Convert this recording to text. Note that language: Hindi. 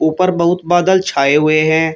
पर बहुत बादल छाए हुए हैं।